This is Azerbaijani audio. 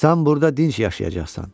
Sən burda dinc yaşayacaqsan.